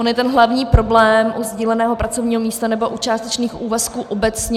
On je ten hlavní problém u sdíleného pracovního místa nebo u částečných úvazků obecně...